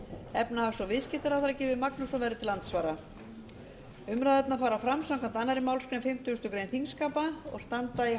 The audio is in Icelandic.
efnahags og viðskiptaráðherra gylfi magnússon verður til andsvara umræðurnar fara fram samkvæmt annarri málsgrein fimmtugustu grein þingskapa og standa í